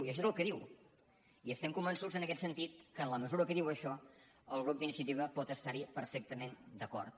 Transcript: i això és el que diu i estem convençuts en aquest sentit que en la mesura que diu això el grup d’iniciativa pot estar·hi perfec·tament d’acord